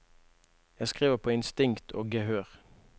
Jeg skriver på instinkt og gehør.